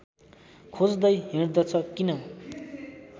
खोज्दै हिँड्दछ किन